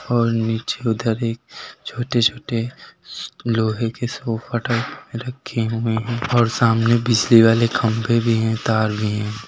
और नीचे उधर एक छोटे छोटे श्श लोहे के सोफा टाइप रखे हुए हैं और सामने बिजली वाले खंभें भी हैं तार भी हैं।